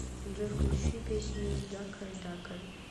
джой включи песню дакар дакар